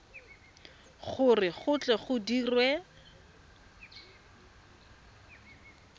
gore go tle go dirwe